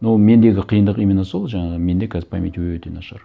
но мендегі қиындық именно сол жаңағы менде қазір память өте нашар